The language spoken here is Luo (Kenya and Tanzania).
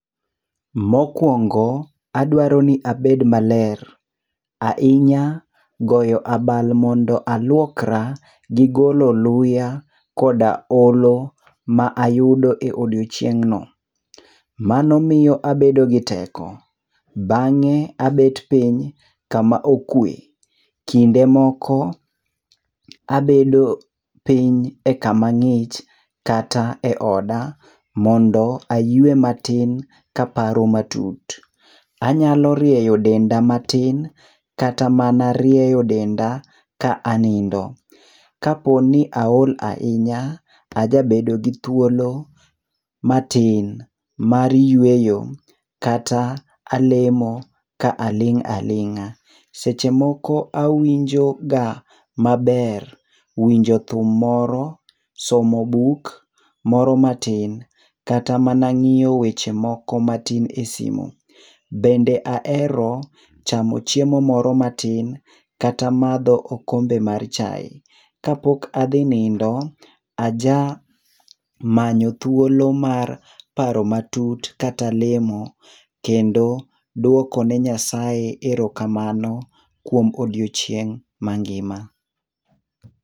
Mokuongo, adwaro ni abed maler. Ahinya goyo abal mondo aluokra, gigolo luya, koda olo ma ayudo e odiechieng' no. Mano miyo abedo gi teko, bang'e abet piny kama okwe. Kinde moko abedo piny e kama ng'ich kata eoda mondo ayue matin kaparo matut. Anyalo rieyo denda matin, kata mana rieyo denda ka anindo. Kaponi aol ahinya, aja bedo gi thuolo matin mar yueyo kata alemo ka aling' aling'a. Seche moko awinjoga maber winjo thum moro, somo buk moro matin kata mana ng'iyo weche moko matin e simu. Bende ahero chamo chiemo moro matin kata madho okombe mar chae. Kapok adhi nindo, aja manyo thuolo mar paro matut kata lemo, kendo duoko ni Nyasaye erokamano kuom odiechieng' mangima.